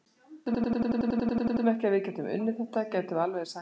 Ef við teldum ekki að við gætum unnið þetta gætum við alveg eins hætt núna.